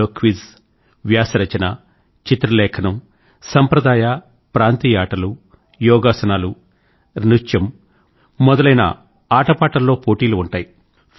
ఇందులో క్విజ్ వ్యాస రచన చిత్రలేఖనం సంప్రదాయ ప్రాంతీయ ఆటలు యోగాసనాలు నృత్యం మొదలైన ఆటపాటల్లో పోటీలు ఉంటాయి